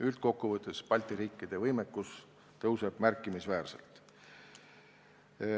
Üldkokkuvõttes paraneb Balti riikide võimekus märkimisväärselt.